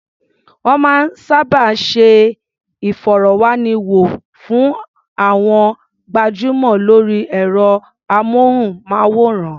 Wọ́n máa ń sábà ṣe ìfọ̀rọ̀wánilẹ́nuwò fún àwọn gbajúmọ̀ lórí ẹ̀rọ-amóhùnmáwòrán.